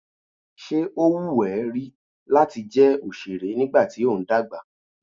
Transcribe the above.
Ṣé ó wù ẹ́ rí láti jẹ́ òṣèré nígbà tí ó ń dàgbà?